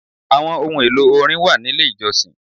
Àwọn ohun èlò orin wà nílé ìjọsìn.